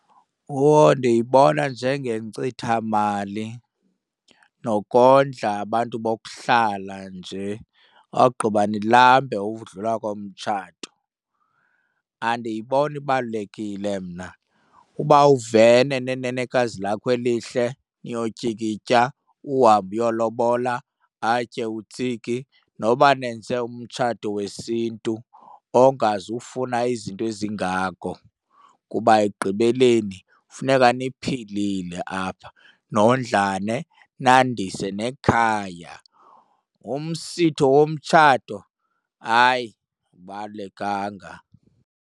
Whoa, ndiyibona njengenkcithamali nokondla abantu bokuhlala nje ogqiba ndilambe ukudlula komtshato, andiyiboni ibalulekile mna. Uba uvene nenenekazi lakho elihle niyotyikitya, uhambe uyolobola atye utsiki, noba nenze umtshato wesiNtu ongazufuna izinto ezingako kuba ekugqibeleni funeka niphilile apha nondlane nandise nekhaya. Umsitho womtshato, hayi, awubalulekanga.